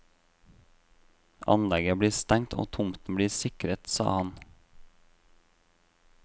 Anlegget blir stengt og tomten blir sikret, sa han.